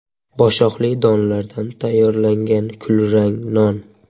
Boshoqli donlardan tayyorlangan kulrang non.